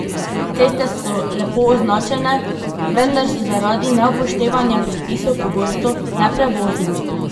Ceste so lepo označene, vendar so zaradi neupoštevanja predpisov pogosto neprevozne.